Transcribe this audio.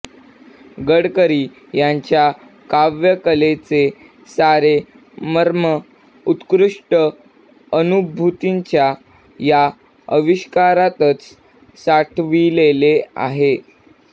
गडकरी यांच्या काव्यकलेचे सारे मर्म उत्कृष्ट अनुभूतींच्या या आविष्कारातच साठविलेले आहे